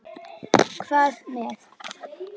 Hvað með.